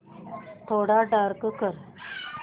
थोडा डार्क कर